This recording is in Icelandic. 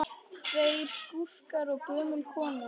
Tveir skúrkar og gömul kona